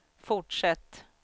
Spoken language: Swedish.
fortsätt